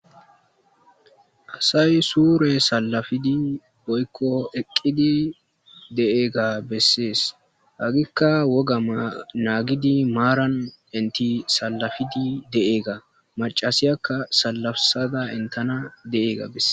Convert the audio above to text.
Asay suure salafidi boykko eqqidi de7eega bessees agikka woga naagidi maaran inti salafidi de'eega macasiyakka salafsada entana de7eega besse